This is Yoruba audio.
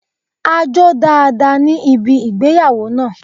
A jó dáadáa ní ibi ìgbéyàwó náà.